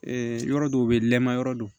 yɔrɔ dɔw bɛ yen nɛma yɔrɔ don